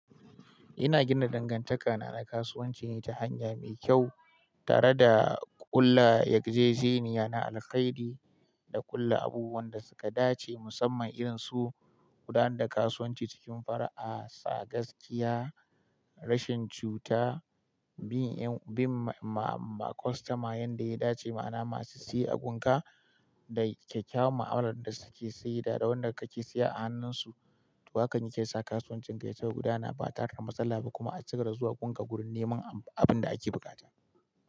Ina gina dangantaka na na kasuwanci ne ta hanya mai kyau tare da kulla raijejeniya na alhairi. Da ƙulla abubuwan da suka dace musamman irin su gudanar da kasuwanci cikin fara'a, da bisa gaskiya, rashin juta, bin customer yanda ya dace ma'a na masu siyan abunka. Da kyakkyawan ma'amalar da suke sayida da wanda kake siya a hannun su. Hakan yake sa kasuwancin yacigaba da guda na ba tare da matsala ba kuma a cigaba da zuwa gun ka wurin neman abun da ake buƙata.